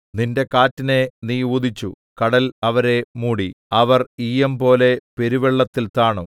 നിന്റെ കാറ്റിനെ നീ ഊതിച്ചു കടൽ അവരെ മൂടി അവർ ഈയംപോലെ പെരുവെള്ളത്തിൽ താണു